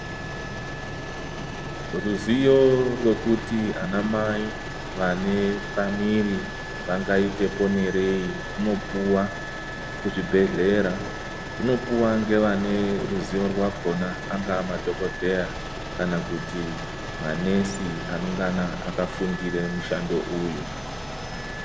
Ruzivo rwekuti ana mai vane pamuviri vangaite ponerei runopuwa kuzvibhehlera. Runopuwa ngevane ruzivo rwakhona angava madhokodheya kana kuti manesi anongana akafundire mushando uyu.